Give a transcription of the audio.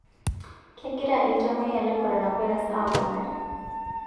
Kegira ltamoyia le korona virus aponari